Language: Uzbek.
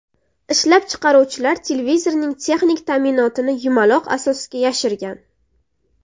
Ishlab chiqaruvchilar televizorning texnik ta’minotini yumaloq asosga yashirgan.